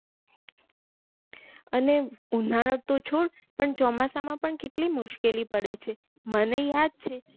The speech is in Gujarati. અને ઉનાળો તો છોડ પણ ચોમાસા માં પણ કેટલી મુશ્કેલી પડે છે મને યાદ છે